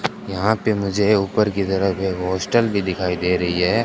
यहां पे मुझे ये ऊपर की तरफ एक हॉस्टल भी दिखाई दे रही है।